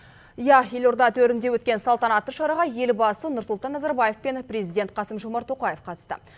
иә елорда төрінде өткен салтанатты шараға елбасы нұрсұлтан назарбаев пен президент қасым жомарт тоқаев қатысты